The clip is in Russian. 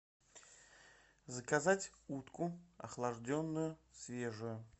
заказать утку охлажденную свежую